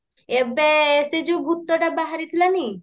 ଏବେ ସେଇ ଯୋଉ ଭୁତଟା ବାହାରିଥିଲାନି